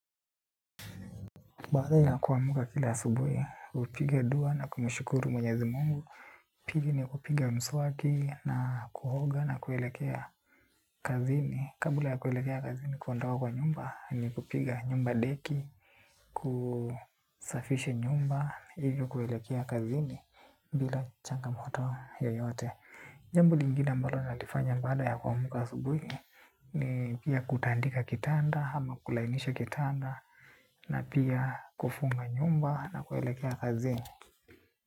Baada ya kuamuka kila asubuhi, hupiga dua na kumushukuru mwenyezi. Mungu. Pigi ni yakupiga msuaki na kuoga na kuelekea kazini. Kabula ya kuelekea kazini kundoa kwa nyumba, ni kupiga nyumba deki, kusafishe nyumba, hivyo kuelekea kazini, bila changa moto yeyote. Jambo lingina ambalo nalifanya baada ya kuamuka asubuhi, ni, pia kutandika kitanda hama kulainisha kitanda na pia kufunga nyumba nakuelekea kazini.